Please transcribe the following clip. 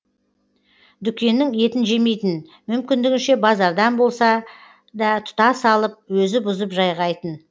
дүкеннің етін жемейтін мүмкіндігінше базардан болса да тұтас алып өзі бұзып жайғайтын